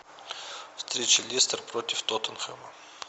встреча лестер против тоттенхэма